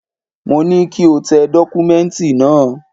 Mo ní kí o tẹ dọ́kúmẹ́ǹtì náà!